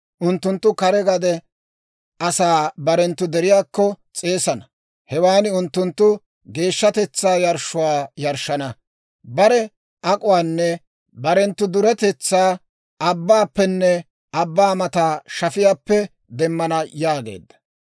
Unttunttu kare gade asaa barenttu deriyaakko s'eesana; hewan unttunttu geeshshatetsaa yarshshuwaa yarshshana. Bare ak'uwaanne barenttu duretetsaa, abbaappenne abbaa mata shafiyaappe demmana» yaageedda.